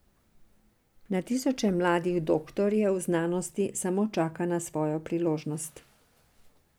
Na tisoče mladih doktorjev znanosti samo čaka na svojo priložnost.